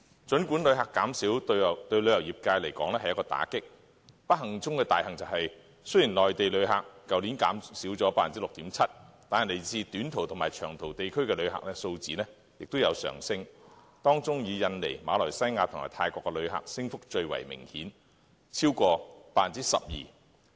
儘管旅客減少對旅遊業界來說是一個打擊，但不幸中的大幸是，雖然內地旅客較去年減少了 6.7%， 但來自短途及長途地區的旅客數字均有上升，當中以印尼、馬來西亞及泰國的旅客升幅最為明顯，超過 12%。